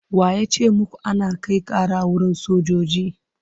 Wa ya ce muku ana kai ƙara wurin sojoji?